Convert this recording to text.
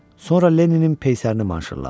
Sonra Lenninin peysərini manşurladı.